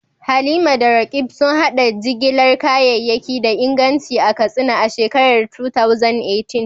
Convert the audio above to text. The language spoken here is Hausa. Halima da Roqeeb sun haɗa jigilar kayayyaki da inganci a Katsina a shekarar 2018.